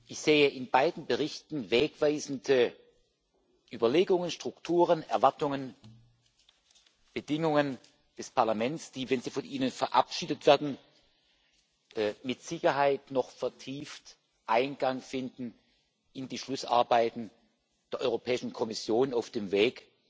Ich sehe in beiden Berichten wegweisende Überlegungen, Strukturen, Erwartungen und Bedingungen des Parlaments, die, wenn Sie von Ihnen verabschiedet werden, mit Sicherheit noch vertieft Eingang finden in die Schlussarbeiten der Europäischen Kommission auf dem Weg